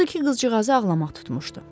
Odur ki, qızcığazı ağlamaq tutmuşdu.